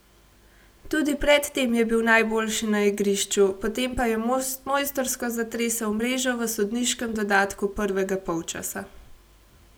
Tudi pred tem je bil najboljši na igrišču, potem pa je mojstrsko zatresel mrežo v sodniškem dodatku prvega polčasa.